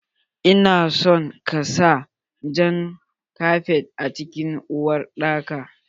Ina so ka sa Jan kafet a cikin uwar dakan.